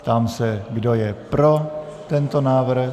Ptám se, kdo je pro tento návrh.